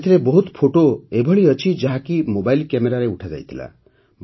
ଏଥିରେ ବହୁତ ଫଟୋ ଏଭଳି ଅଛି ଯାହାକି ମୋବାଇଲ୍ କ୍ୟାମେରାରେ ଉଠାଯାଇଥିଲା